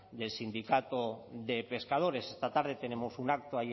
del sindicato de pescadores esta tarde tenemos un acto